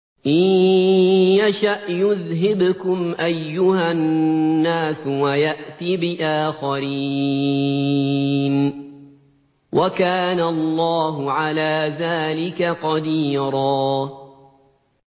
إِن يَشَأْ يُذْهِبْكُمْ أَيُّهَا النَّاسُ وَيَأْتِ بِآخَرِينَ ۚ وَكَانَ اللَّهُ عَلَىٰ ذَٰلِكَ قَدِيرًا